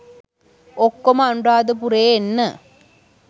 ඔක්කොම අනුරාධපුරේ එන්න